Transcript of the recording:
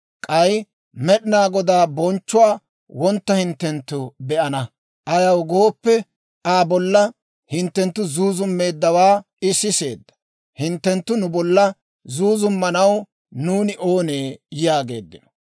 k'ay Med'inaa Godaa bonchchuwaa wontta hinttenttu be'ana; ayaw gooppe, Aa bolla hinttenttu zuuzummeeddawaa I siseedda; hinttenttu nu bolla zuuzummanaw nuuni oonee?» yaageeddino.